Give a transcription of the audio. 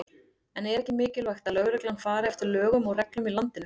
En er ekki mikilvægt að lögreglan fari eftir lögum og reglum í landinu?